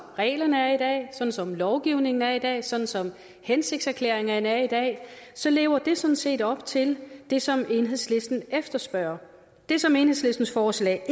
reglerne er i dag sådan som lovgivningen er i dag sådan som hensigtserklæringerne er i dag så lever det sådan set op til det som enhedslisten efterspørger det som enhedslistens forslag